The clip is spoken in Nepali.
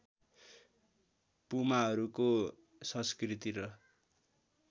पुमाहरूको संस्कृति र